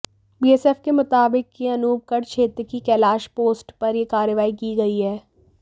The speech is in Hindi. बीएसएफ के मुताबिक यह अनूपगढ़ क्षेत्र की कैलाश पोस्ट पर यह कार्रवाई की गई है